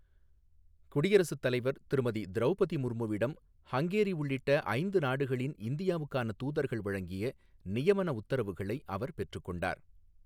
குடியரசுத்தலைவர் திருமதி திரௌபதி முர்முவிடம் ஹங்கேரி உள்ளிட்ட ஐந்து நாடுகளின் இந்தியாவுக்கான தூதர்கள் வழங்கிய நியமன உத்தரவுகளை அவர் பெற்றுக்கொண்டார்.